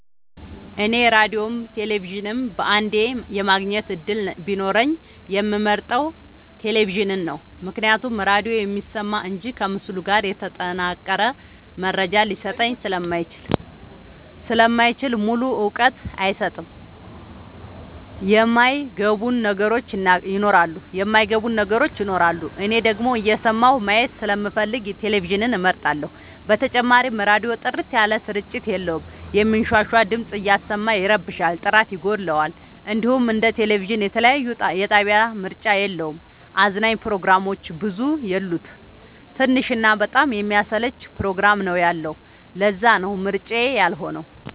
እኔ ራዲዮም ቴሌቪዥንም በአንዴ የማግኘት እድል ቢኖረኝ የምመርጠው። ቴሌቪዥንን ነው ምክንያቱም ራዲዮ የሚሰማ እንጂ ከምስል ጋር የተጠናቀረ መረጃ ሊሰጠኝ ስለማይችል ሙሉ እውቀት አይሰጥም የማይ ገቡን ነገሮች ይኖራሉ። እኔ ደግሞ እየሰማሁ ማየት ስለምፈልግ ቴሌቪዥንን እመርጣለሁ። በተጨማሪም ራዲዮ ጥርት ያለ ስርጭት የለውም የሚንሻሻ ድምፅ እያሰማ ይረብሻል ጥራት ይጎለዋል። እንዲሁም እንደ ቴሌቪዥን የተለያየ የጣቢያ ምርጫ የለውም። አዝናኝ ፕሮግራሞችም ብዙ የሉት ትንሽ እና በጣም የሚያሰለች ፕሮግራም ነው ያለው ለዛነው ምርጫዬ ያልሆ ነው።